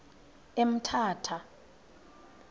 emthatha